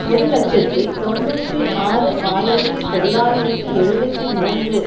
ஒரு இலட்சத்தி தொன்னூற்றி ஆறு ஆயிரத்தி தொள்ளாயிரத்தி எழுபத்து மூன்று